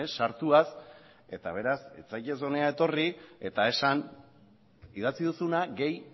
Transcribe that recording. sartuaz eta beraz ez zaitez hona etorri eta esan idatzi duzuna gehi